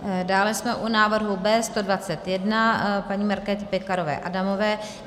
Dále jsme u návrhu B121 paní Markéty Pekarové Adamové.